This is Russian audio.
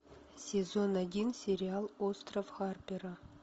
сезон один сериал остров харпера